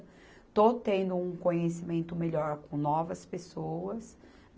Estou tendo um conhecimento melhor com novas pessoas.